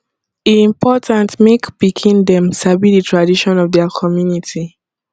e important mek pikin dem sabi de tradition of dia community